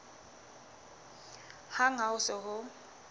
hang ha ho se ho